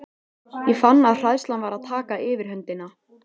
Ég fann að hræðslan var að taka yfirhöndina.